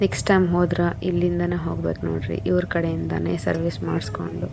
next time ಹೋದ್ರೆ ಇಲ್ಲಿಂದಾನೆ ಹೋಗ್ಬೇಕು ನೋಡ್ರಿ ಇವರ ಕಡೆ ಯಿಂದಾನೆ ಸರ್ವಿಸ್ ಮಾಡಿಸ್ಕೊಂಡು --